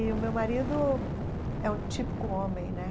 E o meu marido é um típico homem, né?